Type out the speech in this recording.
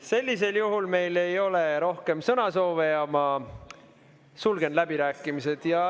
Sellisel juhul ei ole meil rohkem sõnasoove ja ma sulgen läbirääkimised.